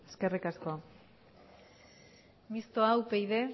de ley municipal eskerrik asko mistoa upyd